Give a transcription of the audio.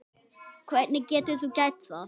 Hvernig getur þú gert það?